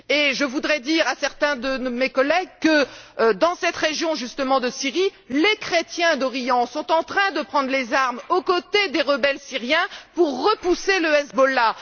Je voudrais dire à certains de mes collègues que, dans cette région justement de Syrie, les chrétiens d'Orient sont en train de prendre les armes aux côtés des rebelles syriens pour repousser le Hezbollah.